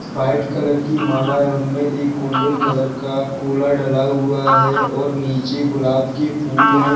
White colour की माला है उनमें एक गोल्डन कलर का डला हुआ है और नीचे गुलाब के फूल है।